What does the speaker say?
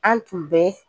An tun bɛ